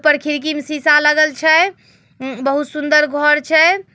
पर ऊपर खिड़की मे शीशा लगल छै। उ म बहुत सुंदर घर छै।